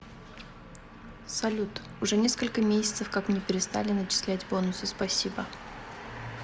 салют уже несколько месяцев как мне перестали начислять бонусы спасибо